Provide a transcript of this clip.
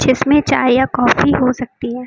जिसमें चाय या काफी हो सकती है।